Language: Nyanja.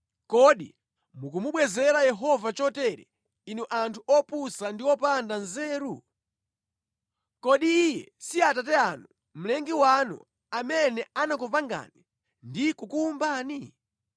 Kodi mukumubwezera Yehova chotere, inu anthu opusa ndi opanda nzeru? Kodi Iye si Atate anu, Mlengi wanu, amene anakupangani ndi kukuwumbani?